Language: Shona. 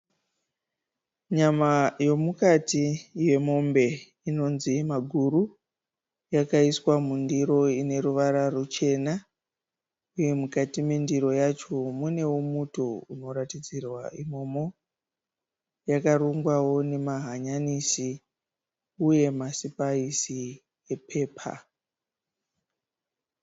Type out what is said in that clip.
Nyama yomukati yemombe inonzi maguru, yakaiswa mundiro ine ruwara ruchena, uye mukati mendiro yacho muneo muto unoratidzirwa imomo yakarungwao nemahanyanisi uye masipaisi epepa.